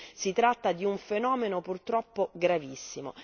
quindi si tratta di un fenomeno purtroppo gravissimo.